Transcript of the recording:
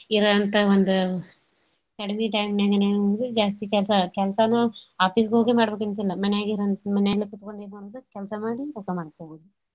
ಇರಂತ ಒಂದು ಕಡಿಮಿ time ನ್ಯಾಗನ ಜಾಸ್ತಿ ಕೆಲ್ಸ~ ಕೆಲ್ಸಾನು office ಗ್ ಹೋಗೇ ಮಾಡ್ ಬೇಕಂತೇನಿಲ್ಲ ಮನ್ಯಾಗನ ಮನ್ಯಾಲೇಕೂತ್ಗೊಂಡು ಎನ್ ಮಾಡೋಡು ಕೆಲ್ಸಾ ಮಾಡಿ ರೊಕ್ಕಾ ಮಾಡ್ಕೋಬೋದು.